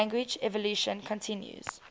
language evolution continues